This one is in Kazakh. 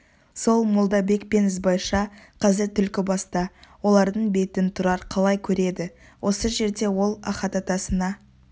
сол молдабек пен ізбайша қазір түлкібаста олардың бетін тұрар қалай көреді осы жерде ол ахат атасына